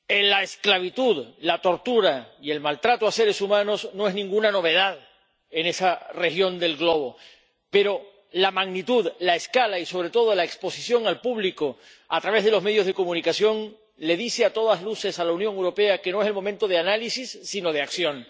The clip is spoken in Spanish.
La esclavitud, la tortura y el maltrato a seres humanos no son ninguna novedad en esa región del globo, pero la magnitud, la escala y, sobre todo, la exposición al público a través de los medios de comunicación, le dice a todas luces a la Unión Europea que no es el momento de análisis, sino de acción.